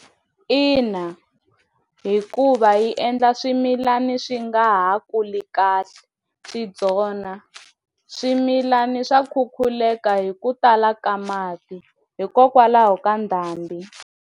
Ina hikuva yi endla swimilana swi nga ha kuli kahle swi byona swimilani swa khukhuleka hi ku tala ka mati hikokwalaho ka ndhambi.